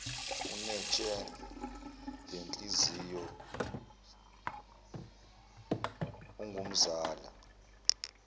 unetshe lenhliziyo ungumzala